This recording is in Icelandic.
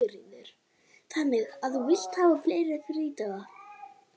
Sigríður: Þannig að þú vilt hafa fleiri frídaga?